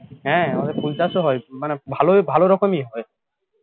হ্যাঁ আমাদের ফুল চাষ হয় মানে ভালো ভালো রকমই হয়